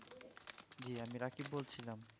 জি আমি রাকিব বলছিলাম